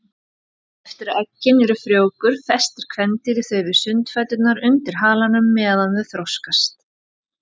Eftir að eggin eru frjóvguð festir kvendýrið þau við sundfæturna undir halanum meðan þau þroskast.